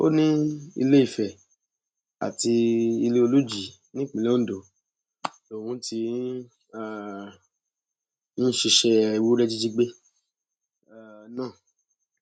ó ní iléìfẹ àti iléolùjì nípínlẹ ondo lòún ti um ń ṣiṣẹ ewúrẹ jíjí gbé um náà